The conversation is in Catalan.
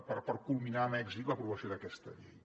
per culminar amb èxit l’aprovació d’aquesta llei